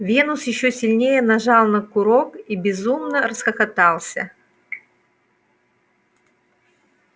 венус ещё сильнее нажал на курок и безумно расхохотался